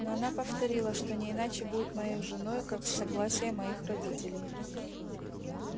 но она повторила что не иначе будет моею женою как с согласия моих родителей